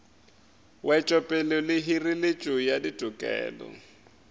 wetšopele le hireletšo ya ditokelo